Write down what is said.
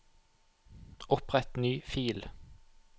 Opprett ny fil